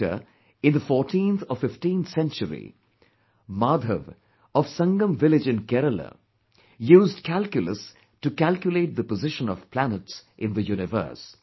Later, in the fourteenth or fifteenth century, Maadhav of Sangam village in Kerala, used calculus to calculate the position of planets in the universe